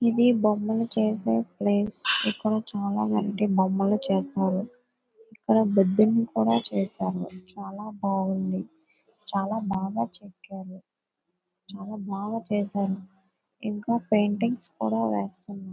ఇది బొమ్మలు చేసే ప్లేస్ . ఇక్కడ చాలామంది బొమ్మలు చేస్తున్నారు. ఇక్కడ బుద్ధున్ని కూడా చేశారు. చాలా బాగుంది. చాలా బాగా చెక్కారు ఇంకా పెయింటింగ్స్ కూడా వేస్తున్నారు.